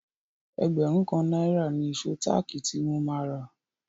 Ẹgbẹ̀rún kan náírà ni ìṣó táàkì tí mo máa rà.